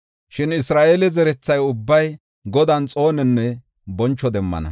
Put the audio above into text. Shin Isra7eele zeretha ubbay, Godan, xoononne boncho demmana.